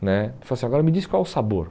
né Ele falou assim, agora me diz qual é o sabor.